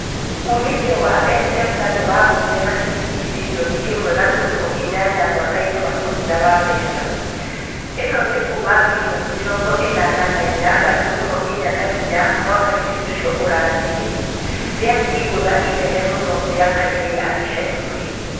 Uumithio wa M-Pesa nĩ wagũire na ciringi birioni ĩmwe gaturumo inyanya mwaka-inĩ wa mũthia wa mbeca . ĩno nĩ kuuma birioni mĩ rongo ĩ nana na inya gaturumo inya na inya mwaka-inĩ ũcio ũrathirire. Rĩarĩ igũithia inene mũno mĩaka-inĩ ya ica ikuhĩ.